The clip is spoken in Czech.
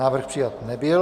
Návrh přijat nebyl.